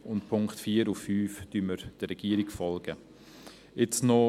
Bei den Punkten 4 und 5 folgen wir der Regierung.